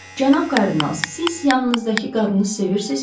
Cənab kardinal, siz yanınızdakı qadını sevirsiz?